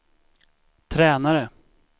tränare